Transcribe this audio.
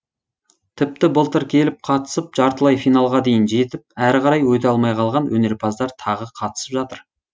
тіпті былтыр келіп қатысып жартылай финалға дейін жетіп әрі қарай өте алмай қалған өнерпаздар тағы қатысып жатыр